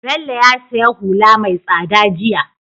Bello ya siya hula me tsada jiya